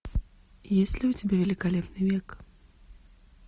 есть ли у тебя великолепный век